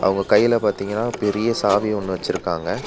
அவுங்க கைல பாத்தீங்கனா பெரிய சாவி ஒன்னு வெச்சிருக்காங்க.